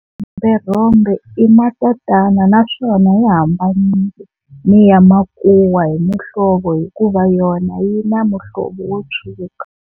Xirhomberhombe i matatana naswona yi hambanile ni ya makuwa hi muhlovo hikuva yona yi na muhlovo wo tshwuka.